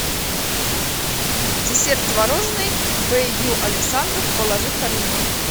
десерт творожный б ю александров положи в корзину